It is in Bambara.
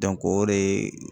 o de